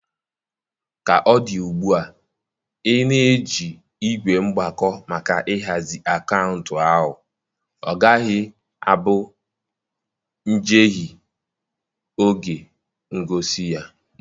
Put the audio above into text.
Ka ọ dị ugbu a, ị na-eji ígwè mgbako maka ịhazi akaụntụ ahụ, ọ gaghị abụ njehie n'oge ngosi gị.